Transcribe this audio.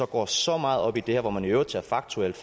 går så meget op i det her hvor man i øvrigt faktuelt